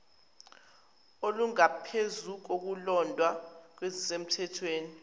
olungaphezu kolulodwa kwezisemthethweni